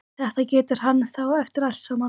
Þetta getur hann þá eftir allt saman!